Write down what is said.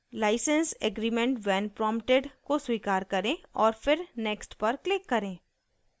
license aggrement when prompted को स्वीकार करें और फिर next पर क्लिक करें